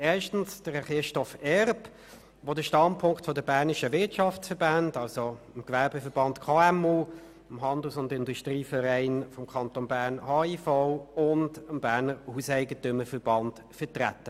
Erstens Herrn Christoph Erb, der den Standpunkt der bernischen Wirtschaftsverbände vertreten hat, also des Gewerbeverbands KMU, des Handels- und Industrievereins des Kantons Bern (HIV) und des Berner Hauseigentümerverbands (HEV).